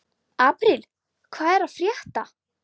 Apríl, hvað er að frétta?